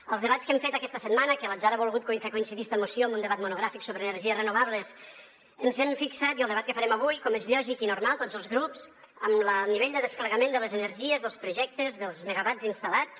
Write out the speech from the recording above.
als debats que hem fet aquesta setmana que l’atzar ha volgut fer coincidir esta moció amb un debat monogràfic sobre energies renovables ens hem fixat i al debat que farem avui com és lògic i normal tots els grups en el nivell de desplegament de les energies dels projectes dels megawatts instal·lats